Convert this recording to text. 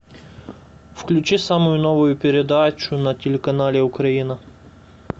включи самую новую передачу на телеканале украина